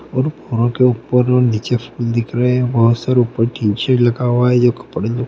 और बोरों के ऊपर और निचे फूल दिख रहें हैं बहुत सारा ऊपर टीन शेड लगा हुआ है जो की पढ़ने में --